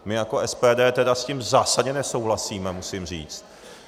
My jako SPD tedy s tím zásadně nesouhlasíme, musím říct.